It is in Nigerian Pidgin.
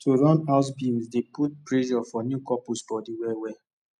to run house bills dey put pressure for new couples bodi well well